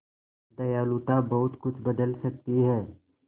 दयालुता बहुत कुछ बदल सकती है